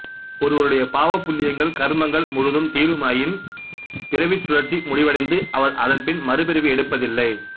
ஒருவருடைய பாவபுண்ணியங்கள் கர்மங்கள் முழுதும் தீருமாயின் பிறவிச்சுழற்சி முடிவடைந்து அவர் அதன்பின் மறுபிறவி எடுப்பதில்லை